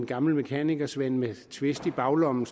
gamle mekanikersvend med twist i baglommen